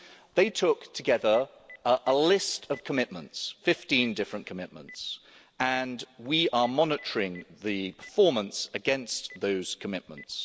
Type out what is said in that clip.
They took together a list of commitments 15 different commitments and we are monitoring the performance against those commitments.